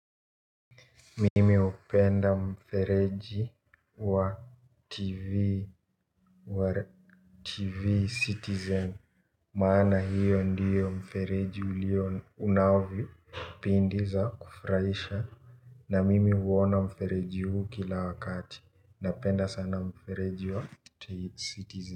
Mimi hupenda mfereji wa TV Citizen. Maana hio ndio mfereji ulio una vipindi za kufurahisha na mimi huona mfereji huu kila wakati napenda sana mfereji wa TV Citizen.